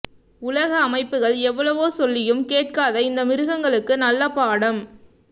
உலக் அமைப்புக்கள் எவ்வளவோ சொல்லியும் கேட்காத இந்த மிருகங்களுக்கு நல்ல பாடம்